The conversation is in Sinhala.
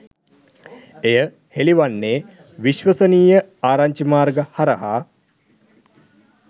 එය හෙළිවන්නේ විශ්වසනීය ආරංචිමාර්ග හරහා